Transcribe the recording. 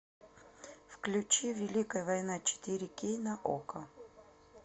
включи великая война четыре кей на окко